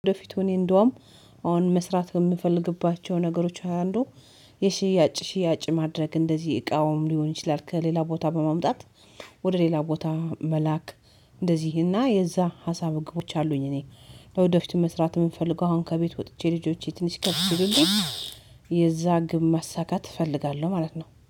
ለወደፊቱ እኔ እንደውም አሁን መስራት የምፈልግባቸው ነገሮች አንዱ የሽያጭ ሽያጭ ማድረግ እንደዚህ እቃውም ሊሆን ይችላል ከሌላ ቦታ በማምጣት ወደ ሌላ ቦታ መላክ። እንደዚህ እና የዛ ሀሳብ ግቦች አሉኝ። እኔ ለወደፊቱ መስራት የምፈልገው አሁን ከቤት ወጥቼ ልጆቼ ትንሽ ከፍ ሲሉልኝ የዛ ግብ ማሳካት እፈልጋለሁ ማለት ነው